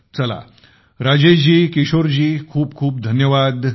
चला राजेश जी किशोर जी खूप खूप धन्यवाद